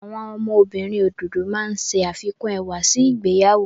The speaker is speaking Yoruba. Àwọn ọmọbìnrin òdòdó máa ń ṣe àfikún ẹwà sí ìgbéyàwó.